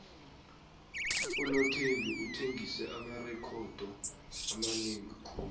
unothembi uthengise amarekhodo amanengi khulu